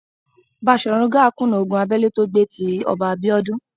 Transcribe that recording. Baṣòrun Gáà kùnà ogun abẹ́lé tó gbé tí Ọba Abíọ́dún.